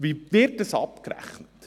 Wie wird dies abgerechnet?